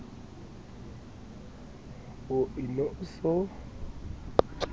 o ne o e so